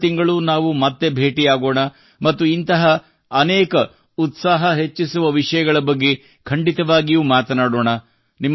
ಮುಂದಿನ ತಿಂಗಳು ನಾವು ಮತ್ತೆ ಭೇಟಿಯಾಗೋಣ ಮತ್ತು ಇಂತಹ ಅನೇಕ ಉತ್ಸಾಹ ಹೆಚ್ಚಿಸುವ ವಿಷಯಗಳ ಬಗ್ಗೆ ಖಂಡಿತವಾಗಿಯೂ ಮಾತನಾಡೋಣ